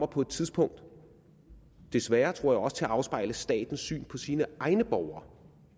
på et tidspunkt desværre tror jeg også til at afspejle statens syn på sine egne borgere